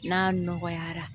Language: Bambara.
N'a nɔgɔyara